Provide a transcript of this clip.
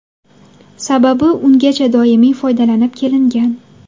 Sababi ungacha doimiy foydalanib kelingan.